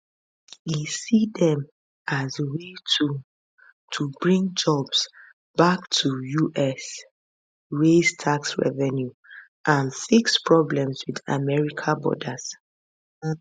e see dem as way to to bring jobs back to us raise tax revenue and fix problems with america borders